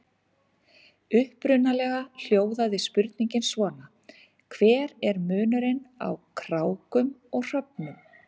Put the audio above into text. Upprunalega hljóðaði spurningin svona: Hver er munurinn á krákum og hröfnum?